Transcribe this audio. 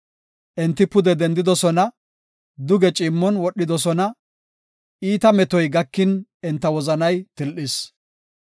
Enti pude dendidosona; duge ciimmon wodhidosona; iita metoy gakin enta wozanay til7is.